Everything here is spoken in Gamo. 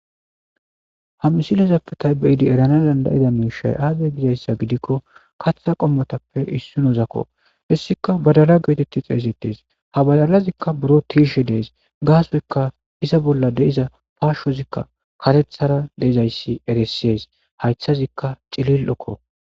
Ha misilezappe taybeidi erana dandayida miishay aazay gizayssa gidikko katha qommotappe issunozakko issika badala geoteti xeesettes ha balalazikka buro tiishe dees gaasoyka iza bolla deiza paashozikka katethara deizayssi eressees haythazikka cilil7okko.